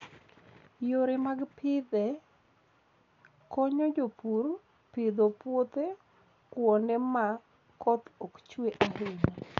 Yore mag pidhe konyo jopur pidho puothe kuonde ma koth ok chue ahinya.